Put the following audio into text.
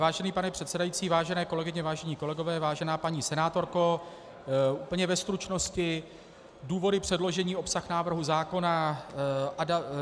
Vážený pane předsedající, vážené kolegyně, vážení kolegové, vážená paní senátorko, úplně ve stručnosti důvody předložení, obsah návrhu zákona.